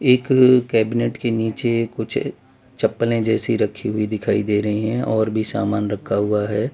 एक कैबिनेट के नीचे कुछ चप्पलें जैसी रखी हुई दिखाई दे रहे हैं और भी सामान रखा हुआ है।